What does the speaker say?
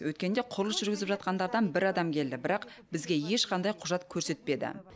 өткенде құрылыс жүргізіп жатқандардан бір адам келді бірақ бізге ешқандай құжат көрсетпеді